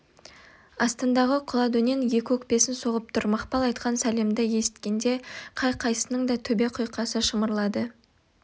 астындағы құла дөнен екі өкпесін соғып тұр мақпал айтқан сәлемді есіткенде қай-қайсысының да төбе құйқасы шымырлады